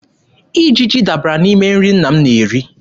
Ijiji dabara n'ime nri nna m na-eri.